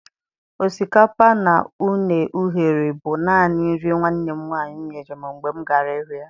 Osikapa na une eghereghe bu nanị nri nwannem nwanyị nyere m mgbe m gara ịhụ ya